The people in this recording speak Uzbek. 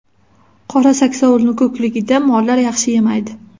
Qora saksovulni ko‘kligida mollar yaxshi yemaydi.